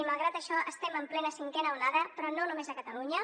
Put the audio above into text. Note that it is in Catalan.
i malgrat això estem en plena cinquena onada però no només a catalunya